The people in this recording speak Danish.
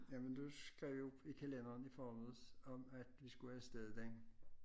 Jamen du skrev jo i kalenderen i forledens om at vi skulle afsted den